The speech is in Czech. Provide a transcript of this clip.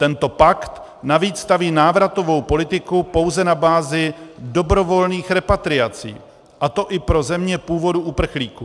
Tento pakt navíc staví návratovou politiku pouze na bázi dobrovolných repatriací, a to i pro země původu uprchlíků.